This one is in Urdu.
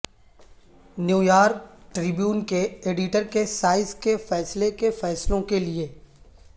نیویارک ٹربیون کے ایڈیٹر کے سائز کے فیصلے کے فیصلوں کے لئے